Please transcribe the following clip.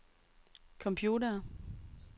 computere